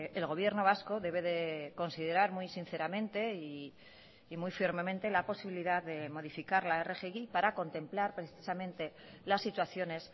el gobierno vasco debe de considerar muy sinceramente y muy firmemente la posibilidad de modificar la rgi para contemplar precisamente las situaciones